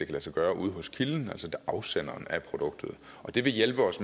lade sig gøre ude hos kilden altså afsenderen af produktet det vil hjælpe os